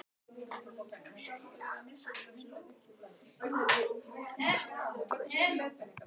Sunna Sæmundsdóttir: Hver var innblásturinn að þessu lagi?